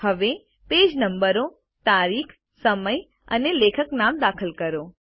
હવે પેજ નંબરો તારીખ સમય અને લેખક નામ દાખલ કરો